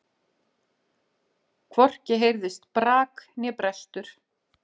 Hvorki heyrðist brak né brestur.